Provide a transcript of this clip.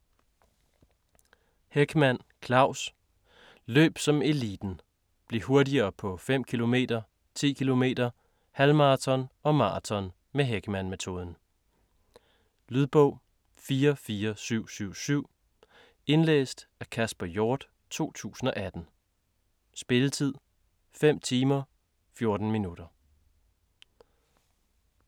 Hechmann, Claus: Løb som eliten: bliv hurtigere på 5 km, 10 km, halvmaraton og maraton med Hechmann-metoden Lydbog 44777 Indlæst af Kasper Hjort, 2018. Spilletid: 5 timer, 14 minutter.